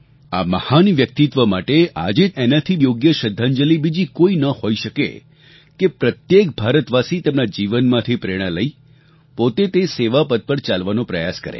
આ મહાન વ્યક્તિત્વ માટે આજે તેમને એનાથી બીજી યોગ્ય શ્રદ્ધાંજલિ કોઈ ન હોઈ શકે કે પ્રત્યેક ભારતવાસી તેમના જીવનમાંથી પ્રેરણા લઈ પોતે તે સેવા પથ પર ચાલવાનો પ્રયાસ કરે